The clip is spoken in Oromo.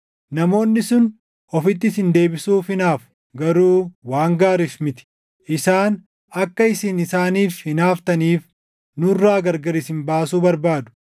Namoonni sun ofitti isin deebisuuf hinaafu; garuu waan gaariif miti. Isaan akka isin isaaniif hinaaftaniif nurraa gargar isin baasuu barbaadu.